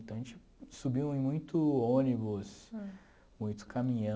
Então a gente subiu em muito ônibus, muito caminhão...